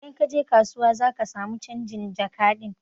Idan kaje kasuwa zaka samu canjin jaka ɗin